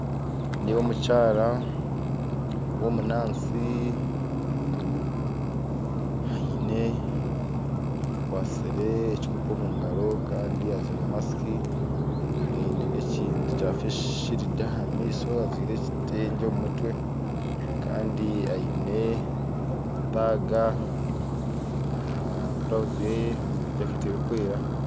Nindeeba omukyara w'omu naasi akwatsire ekikopo omugaro kandi ajwire masiki aine n'ekintu kya feesi siridi aha maisho ajwire ekitengye omu mutwe kandi aine taga aha burawuzi ye ajwire jaketi erikwera